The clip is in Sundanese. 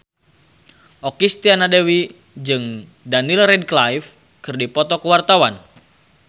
Okky Setiana Dewi jeung Daniel Radcliffe keur dipoto ku wartawan